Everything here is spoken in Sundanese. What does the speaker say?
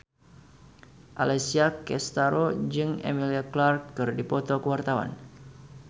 Alessia Cestaro jeung Emilia Clarke keur dipoto ku wartawan